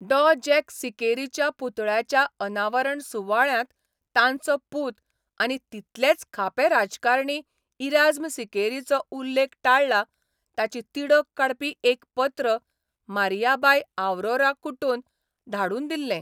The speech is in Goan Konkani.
डॉ जॅक सिकेरीच्या पुतळ्याच्या अनावरण सुवाळ्यांत तांचो पूत आनी तितलेच खापे राजकारणी इराज्म सिकेरीचो उल्लेख टाळ्ळा ताची तिडक काडपी एक पत्र मारियाबाय आवरोरा कुटोन धाडून दिल्लें.